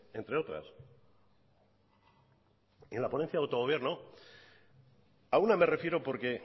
entre otras en la ponencia de autogobierno a una me refiero porque